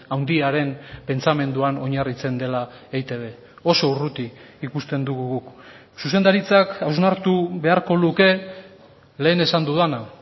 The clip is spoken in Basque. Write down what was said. handiaren pentsamenduan oinarritzen dela eitb oso urruti ikusten dugu guk zuzendaritzak hausnartu beharko luke lehen esan dudana